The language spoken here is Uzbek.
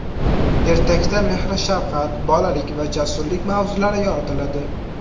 Ertakda mehr-shafqat, bolalik va jasurlik mavzulari yoritiladi.